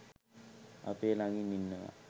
අපේ ළඟින්ම ඉන්නවා.